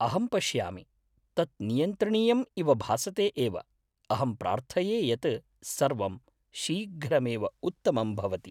अहं पश्यामि, तत् नियन्त्रणीयम् इव भासते एव; अहं प्रार्थये यत् सर्वं शीघ्रमेव उत्तमं भवति।